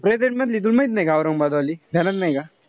Present मधली तुला माहित नाई का औरंगाबाद वाली? ध्यानात नाई का?